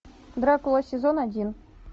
дракула сезон один